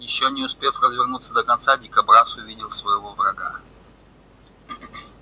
ещё не успев развернуться до конца дикобраз увидел своего врага